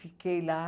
Fiquei lá.